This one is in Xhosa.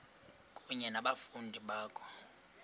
kunye nabafundi bakho